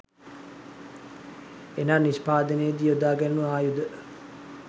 එනම් නිෂ්පාදනයේ දී යොදා ගැණුනු ආයුධ